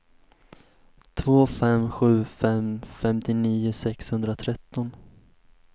två fem sju fem femtionio sexhundratretton